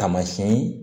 Taamasiyɛn